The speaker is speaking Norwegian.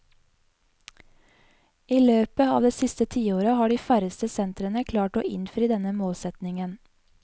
I løpet av det siste tiåret har de færreste sentrene klart å innfri denne målsetningen.